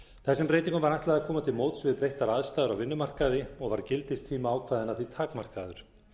þessum breytingum var ætlað að koma til móts við breyttar aðstæður á vinnumarkaði og var gildistími ákvæðanna því takmarkaður